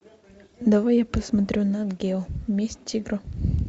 давай я посмотрю нат гео месть тигра